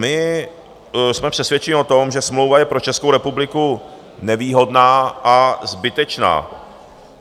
My jsme přesvědčeni o tom, že smlouva je pro Českou republiku nevýhodná a zbytečná.